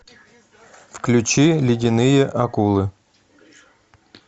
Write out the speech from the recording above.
включи ледяные акулы